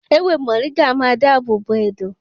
Ewé mọ̀ríngà a máa dá àbò bo ẹ̀dọ̀.